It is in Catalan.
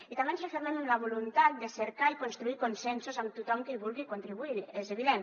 i també ens refermem en la voluntat de cercar i construir consensos amb tothom que hi vulgui contribuir és evident